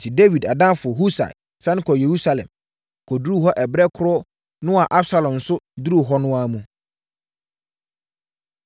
Enti, Dawid adamfo Husai sane kɔɔ Yerusalem, kɔduruu hɔ berɛ korɔ no a Absalom nso duruu hɔ no mu.